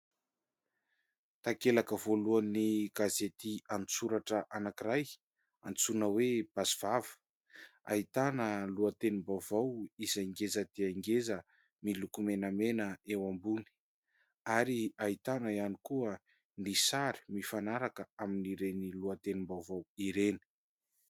Takelaka voalohan'ny gasety an-tsoratra anankiray, antsoina hoe "Basy vava", ahitana lohatenim-baovao izay ngeza dia ngeza miloko menamena eo ambony, ary ahitana ihany koa ny sary mifanaraka amin'ireny lohatenim-baovao ireny.